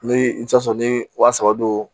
Ni i bɛ t'a sɔrɔ ni wa saba don